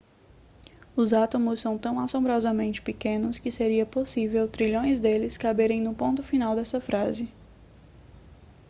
os átomos são tão assombrosamente pequenos que seria possível trilhões deles caberem no ponto final desta frase